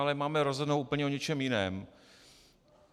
Ale máme rozhodnout o úplně něčem jiném.